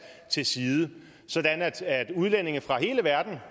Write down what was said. til side sådan at udlændinge fra hele verden